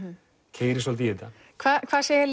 keyri svolítið í þetta hvað segja